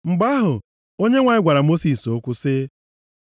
Mgbe ahụ Onyenwe anyị gwara Mosis okwu sị,